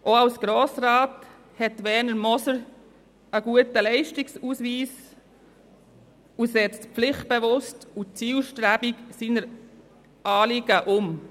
Auch als Grossrat hat Werner Moser einen guten Leistungsausweis und setzt pflichtbewusst und zielstrebig seine Anliegen um.